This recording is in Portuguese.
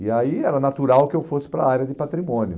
E aí era natural que eu fosse para a área de patrimônio.